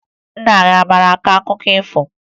Nna gị a maara akọ akụkọ ifo?